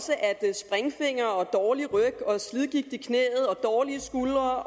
springfinger og dårlig ryg og slidgigt i knæet og dårlige skuldre og